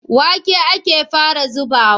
Wake ake fara zubawa.